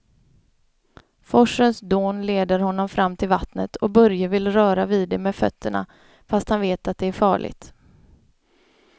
Forsens dån leder honom fram till vattnet och Börje vill röra vid det med fötterna, fast han vet att det är farligt.